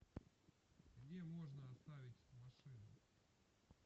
где можно оставить машину